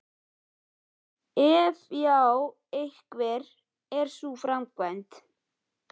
Ef já, hver er sú framkvæmd?